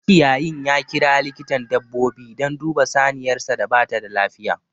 Makiyayin ya kira likitan dabbobi dan duba saniyarsa da bata da lafiya